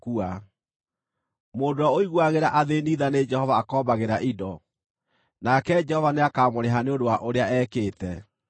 Mũndũ ũrĩa ũiguagĩra athĩĩni tha nĩ Jehova akombagĩra indo, nake Jehova nĩakamũrĩha nĩ ũndũ wa ũrĩa ekĩte.